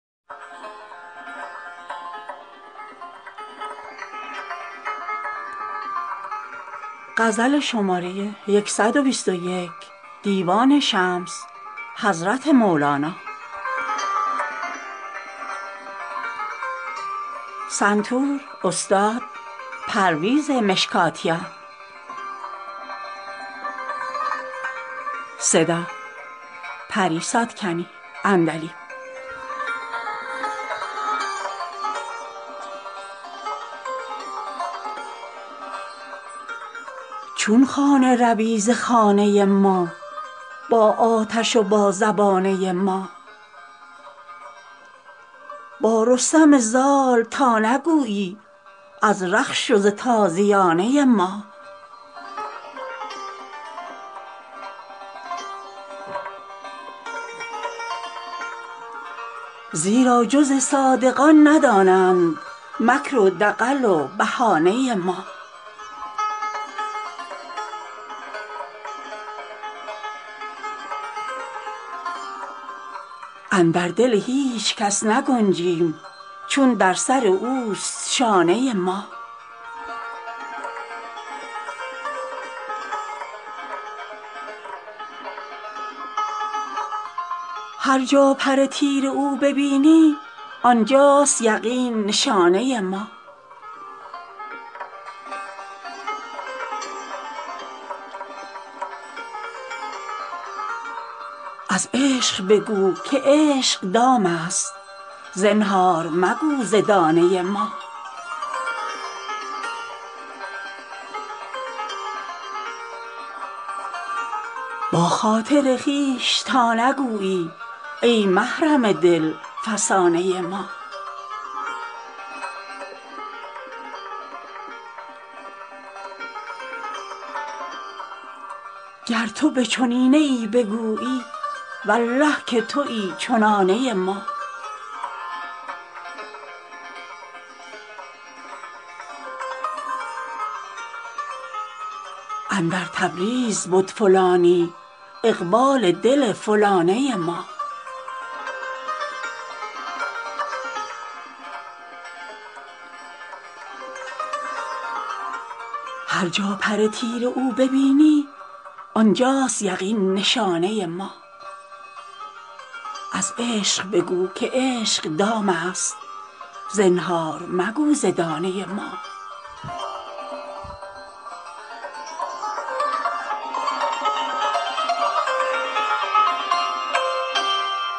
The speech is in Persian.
چون خانه روی ز خانه ما با آتش و با زبانه ما با رستم زال تا نگویی از رخش و ز تازیانه ما زیرا جز صادقان ندانند مکر و دغل و بهانه ما اندر دل هیچ کس نگنجیم چون در سر اوست شانه ما هر جا پر تیر او ببینی آن جاست یقین نشانه ما از عشق بگو که عشق دامست زنهار مگو ز دانه ما با خاطر خویش تا نگویی ای محرم دل فسانه ما گر تو به چنینه ای بگویی والله که توی چنانه ما اندر تبریز بد فلانی اقبال دل فلانه ما